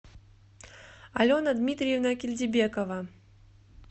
алена дмитриевна кильдибекова